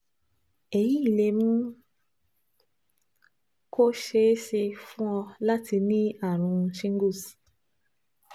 Èyí lè mú kó ṣeé ṣe fún ọ láti ní àrùn shingles